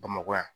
Bamakɔ yan